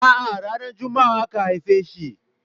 A'a ranar Juma'a aka haife shi.